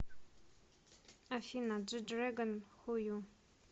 афина джи дрэгон ху ю